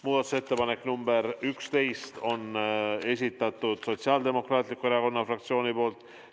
Muudatusettepanek nr 11 on Sotsiaaldemokraatliku Erakonna fraktsiooni esitatud.